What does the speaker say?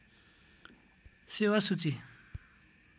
सेेवा सूची